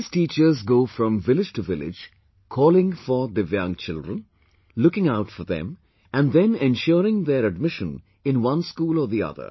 These teachers go from village to village calling for Divyang children, looking out for them and then ensuring their admission in one school or the other